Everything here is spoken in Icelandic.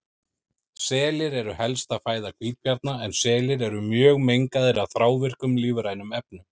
Selir eru helsta fæða hvítabjarna en selir eru mjög mengaðir af þrávirkum lífrænum efnum.